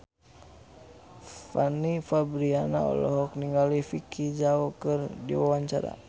Fanny Fabriana olohok ningali Vicki Zao keur diwawancara